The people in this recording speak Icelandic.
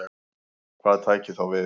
Hvað tæki þá við?